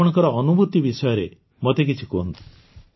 ଆପଣଙ୍କ ଅନୁଭୂତି ବିଷୟରେ ମୋତେ କିଛି କୁହନ୍ତୁ